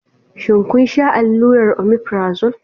Shin kun sha allurar omefrazole?